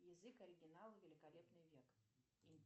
язык оригинала великолепный век